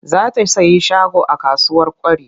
Za ta sayi shago a kasuwar Kwari.